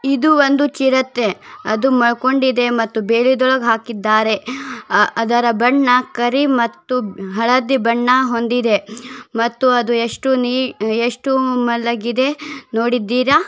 ಇದು ಒಂದು ಚಿರತೆ ಅದು ಮಲಕೊಂಡೈತೆ ಮತ್ತು ಬೆಳಿ ಒಳಗಡೆ ಹಾಕಿದ್ದಾರೆ'' ಅದರ ಬಣ್ಣ ಕರಿ ಮತ್ತು ಹಳದಿ ಬಣ್ಣ ಹೊಂದಿದೆ ಮತ್ತು ಅದು ಎಷ್ಟು ಮಲಗಿದೆ ನೋಡಿದ್ದೀರಾ .